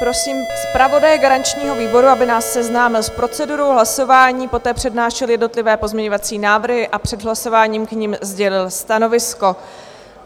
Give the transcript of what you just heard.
Prosím zpravodaje garančního výboru, aby nás seznámil s procedurou hlasování, poté přednášel jednotlivé pozměňovací návrhy a před hlasováním k nim sdělil stanovisko.